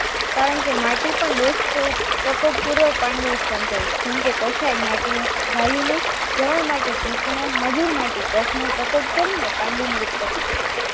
કારણ કે માટી પણ દોષ સ્વરૂપ તટસ્થ પૂર્વક પાંડુ ઉત્પન્ન કરે છે જેમકે કશાય માટી નો વાયુનો તરણ માટી પિત્તનો મધુર માંથી કચ્છનો ઉપયોગ કરીને પાંડુની ઉત્પત્તિ કરે છે